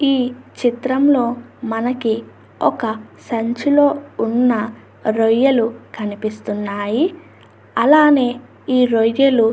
ఈ చిత్రంలో మనకి ఒక సంచిలో ఉన్న రొయ్యలు కనిపిస్తూ ఉన్నాయి. అలానే ఈ రొయ్యలు --